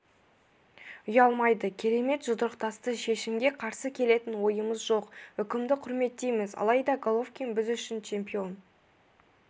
ұялмайды керемет жұдырықтасты шешімге қарсы келетін ойымыз жоқ үкімді құрметтейміз алайда головкин біз үшін чемпион